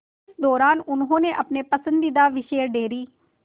इस दौरान उन्होंने अपने पसंदीदा विषय डेयरी